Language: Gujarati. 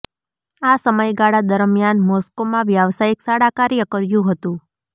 આ સમયગાળા દરમિયાન મોસ્કોમાં વ્યાવસાયિક શાળા કાર્ય કર્યું હતું